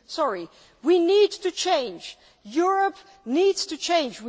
Sorry, but we need to change, Europe needs to change.